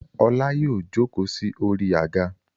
Ọlá yóò jókòó sí orí àga.